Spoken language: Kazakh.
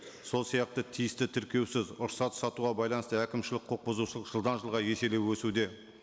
сол сияқты тиісті тіркеусіз рұқсат сатуға байланысты әкмішілік құқық бұзушылық жылдан жылға еселеп өсуде